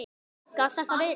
Gat þetta verið?